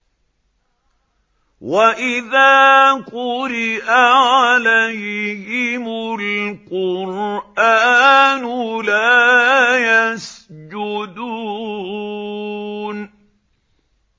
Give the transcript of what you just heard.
وَإِذَا قُرِئَ عَلَيْهِمُ الْقُرْآنُ لَا يَسْجُدُونَ ۩